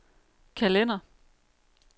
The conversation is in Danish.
kalender